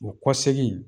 O kɔ segin